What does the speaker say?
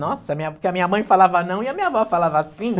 Nossa, minha, porque a minha mãe falava não e a minha avó falava sim.